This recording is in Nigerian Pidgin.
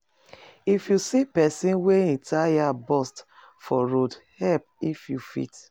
No gossip about pesin wey dey struggle, try support am.